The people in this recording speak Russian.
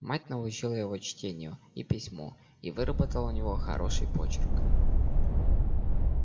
мать научила его чтению и письму и выработала у него хороший почерк